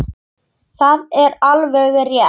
Það er alveg rétt.